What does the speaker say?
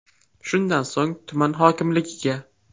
Shundan so‘ng tuman hokimligiga.